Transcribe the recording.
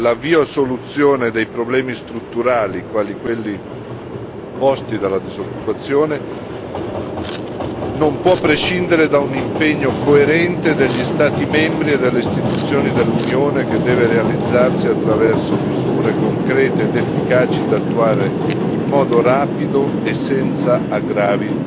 L'avvio a soluzione dei problemi strutturali, quali quelli posti dalla disoccupazione non può prescindere da un impegno coerente degli Stati membri e delle istituzioni dell'Unione che deve realizzarsi attraverso misure concrete ed efficaci da attuare in modo rapido e senza aggravi